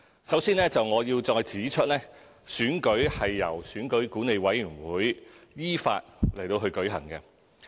首先，我要再指出，選舉是由選舉管理委員會依法舉行。